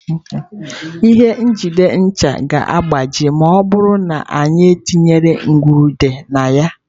Ihe njide ncha ga-agbaji ma ọ bụrụ na anyị etinyekwu nrụgide na ya.